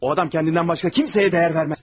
O adam özündən başqa kiməsə dəyər verməz.